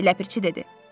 Ləpirçi dedi.